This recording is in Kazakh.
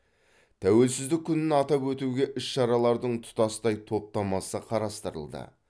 тәуелсіздік күнін атап өтуге іс шаралардың тұтастай топтамасы қарастырылды